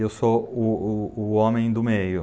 E eu sou o, o, o homem do meio.